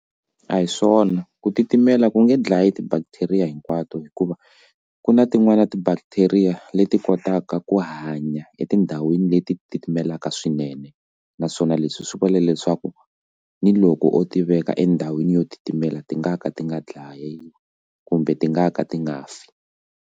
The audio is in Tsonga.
A hi swona ku titimela ku nge dlayi ti bacteria hinkwato hikuva ku na tin'wani ti bacteria leti kotaka ku hanya etindhawini leti titimelaka like swinene naswona leswi swi vula leswaku ni loko ti veka endhawini yo titimela ti nga ka ti nga dlayiwi kumbe ti nga ka ti nga fa.